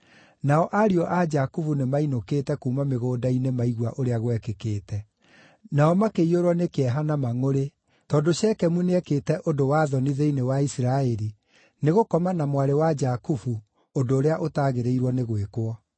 Nao ariũ a Jakubu nĩmainũkĩte kuuma mĩgũnda-inĩ maigua ũrĩa gwekĩkĩte. Nao makĩiyũrwo nĩ kĩeha na mangʼũrĩ, tondũ Shekemu nĩekĩte ũndũ wa thoni thĩinĩ wa Isiraeli, nĩ gũkoma na mwarĩ wa Jakubu, ũndũ ũrĩa ũtagĩrĩirwo nĩ gwĩkwo.